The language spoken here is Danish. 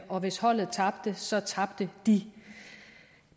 og hvis holdet tabte så tabte de